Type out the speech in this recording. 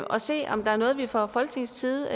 og se om der er noget vi fra folketingets side